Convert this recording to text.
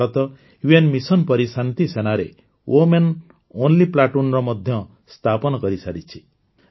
Bharat UN mission ପରି ଶାନ୍ତିସେନାରେ women only platoon ମଧ୍ୟ ସ୍ଥାପନ କରିସାରିଛି